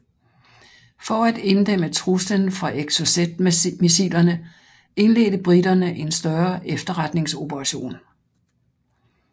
For at inddæmme truslen fra Exocetmissilerne indledte briterne en større efterretningsoperation